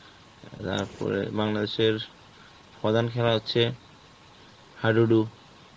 এর তারপরে Bangladesh এর প্রধান খেলা হচ্ছে হাডুডু